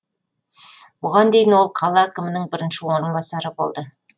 бұған дейін ол қала әкімінің бірінші орынбасары болды